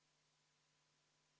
Palun võtta seisukoht ja hääletada!